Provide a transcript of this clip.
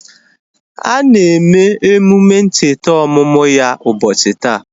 A na eme emume ncheta ọmụmụ ya ubochi taa